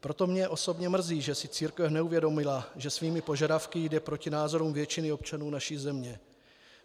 Proto mě osobně mrzí, že si církev neuvědomila, že svými požadavky jde proti názorům většiny občanů naší země.